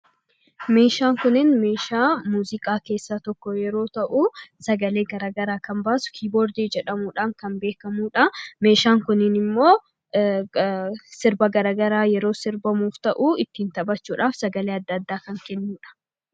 Meeshaan kunin meeshaa muuziqaa keessaa tokko yeroo ta'u, sagalee garagaraa kan baasu 'kiiboordii' jedhamuudhaan kan beekamuu dha. Meeshaan kunin immoo sirba garagaraa sirbamuuf ta'u ittiin taphachuudhaaf sagalee adda addaa kan kennu dha.